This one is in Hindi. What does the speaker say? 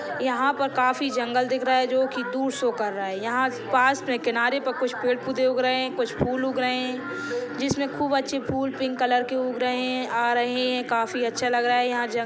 यहाँ पर काफी जंगल दिख रहा हैं जो की टूर शो कर रहा हैं यहाँ पास पे किनारे पे पेड़ पौधे उग रहे हैं कुछ फूल उग रहे हैं जिसमे खूब अच्छी फूल पिंक कलर के उग रहे हैं आ रहे हैं काफी अच्छा लग रहा हैं यहाँ जंग--